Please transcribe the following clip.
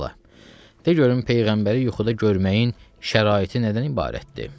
Hə bala, de görüm Peyğəmbəri yuxuda görməyin şəraiti nədən ibarətdir?